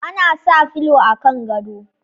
Ana sa fulo a kan gado